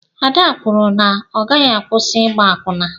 Ada kwụrụ na ọ gaghị akwusi ịgba akwụna.